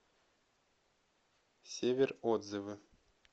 север отзывы